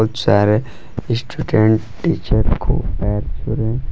बहुत सारे student teacher को पैर छू रहे--